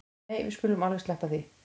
Nei við skulum alveg sleppa því